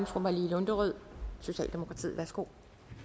fru malou lunderød socialdemokratiet værsgo